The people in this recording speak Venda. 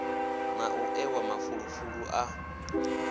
na u ewa mafulufulu a